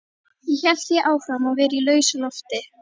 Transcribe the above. Ég hélt því áfram að vera í lausu lofti.